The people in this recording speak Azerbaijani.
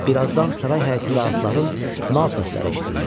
Birazdan saray həyətində atların nal səsləri eşidildi.